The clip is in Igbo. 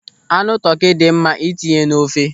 Anụ tọkị dị mma ịtinye n'ofe.